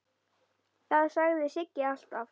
Það sagði Siggi alltaf.